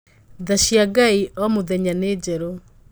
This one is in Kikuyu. Nthaa cia Ngai o mũthumenya nĩ njerũ.